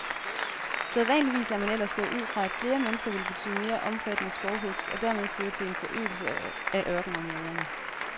Sædvanligvis er man ellers gået ud fra, at flere mennesker ville betyde mere omfattende skovhugst og dermed føre til en forøgelse af ørkenområderne.